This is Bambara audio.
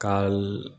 Ka